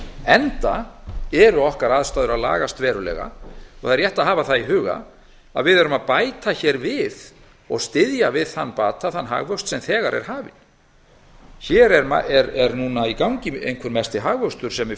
enda eru okkar aðstæður að lagast verulega það er rétt að hafa það í huga að við erum að bæta hér við og styðja við þann bata þann hagvöxt sem þegar er hafinn hér er núna í gangi einhver mesti hagvöxtur sem við